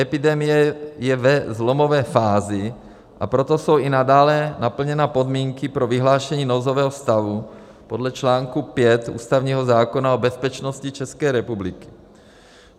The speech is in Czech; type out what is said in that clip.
Epidemie je ve zlomové fázi, a proto jsou i nadále naplněny podmínky pro vyhlášení nouzového stavu podle článku 5 ústavního zákona o bezpečnosti České republiky.